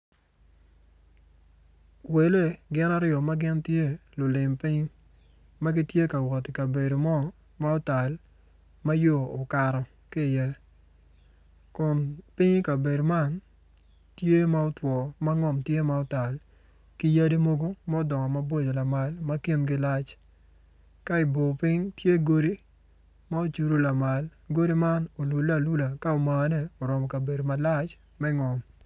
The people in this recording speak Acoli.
Wele gin aryo ma gin tye lulim piny ma gitye ka wot i kabedo mo ma otal ma yo okato ki iye kun piny i kabedo man tye ma otwo ma ngom tye ma otal ki yadi mogo ma odongo mabor lamal ma kingi lac ka i bor piny tye godi ma ocudo lamal godi man olule alula ka omaane orumo kabedo malac me ngom.